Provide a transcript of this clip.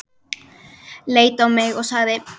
Leit á mig og sagði